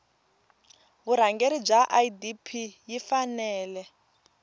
vurhangeri bya idp yi fanele